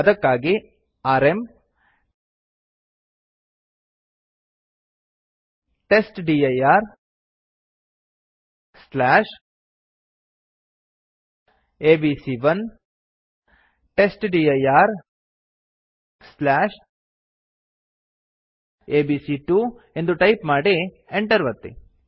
ಅದಕ್ಕಾಗಿ ಆರ್ಎಂ testdirಎಬಿಸಿ1 testdirಎಬಿಸಿ2 ಎಂದು ಟೈಪ್ ಮಾಡಿ enter ಒತ್ತಿ